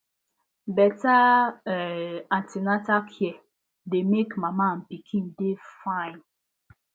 better um an ten atal care dey make mama and pikin dey fine